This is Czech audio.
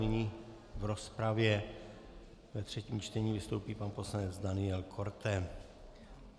Nyní v rozpravě ve třetím čtení vystoupí pan poslanec Daniel Korte.